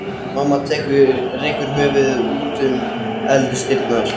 Mamma rekur höfuðið út um eldhúsdyrnar.